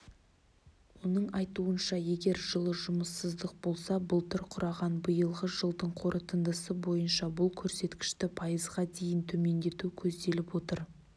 оның айтуынша егер жылы жұмыссыздық болса былтыр құраған биылғы жылдың қорытындысы бойынша бұл көрсеткішті пайызға дейін төмендету көзделіп отыр